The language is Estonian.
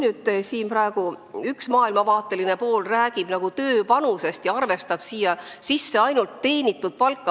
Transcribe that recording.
Üht maailmavaadet esindav pool räägib palju tööpanusest ja arvestaks seejuures ainult teenitud palka.